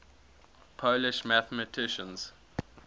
polish mathematicians